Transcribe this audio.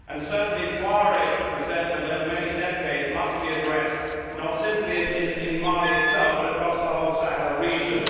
Certainly, Tuareg resentment over many decades must be addressed not simply in Mali itself, but across the whole Sahel region.